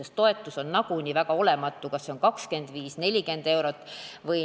Sest toetus on nagunii väga olematu, kas see on 25 või 40 eurot.